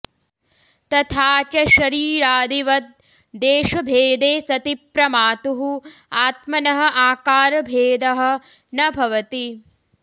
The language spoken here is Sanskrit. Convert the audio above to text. तथा च शरीरादिवद् देशभेदे सति प्रमातुः आत्मनः आकारभेदः न भवति